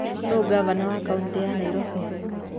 Nũũ ngavana wa kaũntĩ ya Nairobi?